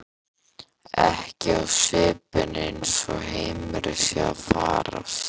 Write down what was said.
Ekki á svipinn eins og heimurinn sé að farast.